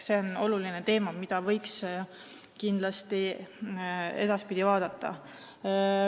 See on oluline teema, mida võiks kindlasti edaspidi veel vaadata.